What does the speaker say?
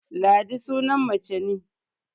Ladi sunan mace ne